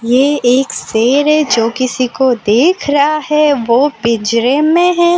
ये एक शेर है जो किसी को देख रहा है वो पिंजरे में है।